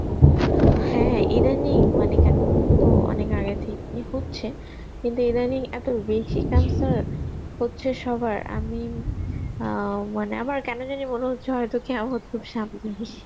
হ্যাঁ, এদানিং মানে কেন তো অনেক আগে থেকেই হচ্ছে কিন্তু এদানিং এত বেশি cancer হচ্ছে সবার আমি অ্যাঁ মানে আমার কেন জানি মনে হচ্ছে হয়তো Hindi খুব সামনেই